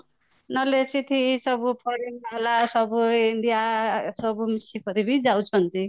ନହଲେ ସେଠି ସବୁ foreign ଵାଲା ସବୁ india ସବୁ ମିଶିକରିବି ଯାଉଛନ୍ତି